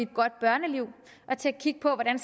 godt børneliv og til at kigge på hvordan